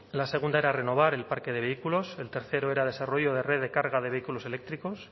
la segunda era renovar el parque de vehículos el tercero era desarrollo de red de carga de vehículos eléctricos